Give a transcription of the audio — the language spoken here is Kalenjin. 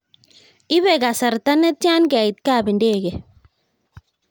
Ipe kasarta netian keit kap ndege